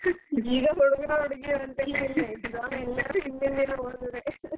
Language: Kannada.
ಈಗ ಹುಡುಗರು ಹುಡುಗಿಯರು ಅಂತೆಲ್ಲ ಇಲ್ಲ exam ಗೆ ಎಲ್ಲರು ಹಿಂದಿನ ದಿನ ಓದುದೇ .